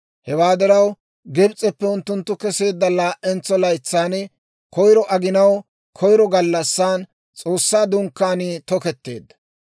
Hewaa diraw, Gibs'eppe unttunttu keseedda laa"entsa laytsan, koyro aginaw koyro gallassan S'oossaa Dunkkaanii tokeetteedda.